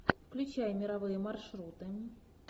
включай мировые маршруты